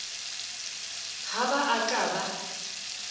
ha ba a ka ba